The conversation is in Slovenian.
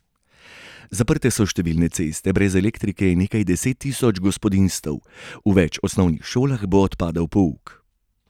Zaprte so številne ceste, brez elektrike je nekaj deset tisoč gospodinjstev, v več osnovnih šolah bo odpadel pouk.